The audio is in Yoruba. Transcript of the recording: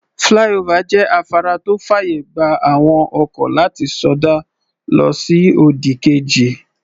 Flyover jẹ́ afárá tó fàyè gba àwọn ọkọ̀ láti sọdá lọ sí òdì kejì.